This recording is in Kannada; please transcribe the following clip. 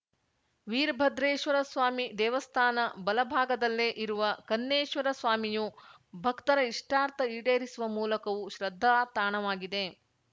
ವೀರಭದ್ರೇಶ್ವರ ಸ್ವಾಮಿ ದೇವಸ್ಥಾನ ಬಲ ಭಾಗದಲ್ಲೇ ಇರುವ ಕನ್ನೇಶ್ವರ ಸ್ವಾಮಿಯು ಭಕ್ತರ ಇಷ್ಟಾರ್ಥ ಈಡೇರಿಸುವ ಮೂಲಕವೂ ಶ್ರದ್ಧಾತಾಣವಾಗಿದೆ